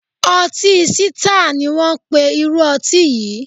Ọtí Sítáà ni wón ń pe irú ọtí yìí.